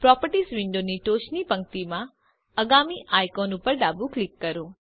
properties વિન્ડોની ટોચની પંક્તિમાં આગામી આઇકોન ઉપર ડાબું ક્લિક કરો